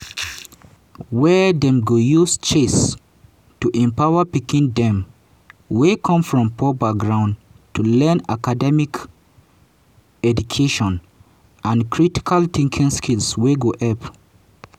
wia dem go use chess to empower pikin dem wey come from poor background to learn academic educational and critical thinking skills wey go helep